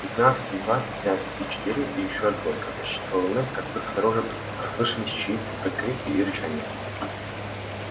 пятнадцать и два пятнадцать и четыре и ещё двойка подсчитывал мэтт как вдруг снаружи послышались чьи то крики и рычание